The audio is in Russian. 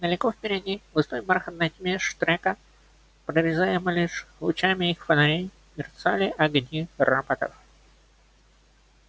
далеко впереди в густой бархатной тьме штрека прорезаемой лишь лучами их фонарей мерцали огни роботов